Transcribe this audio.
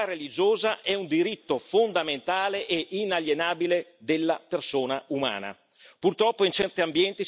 Per noi la libertà religiosa è un diritto fondamentale e inalienabile della persona umana.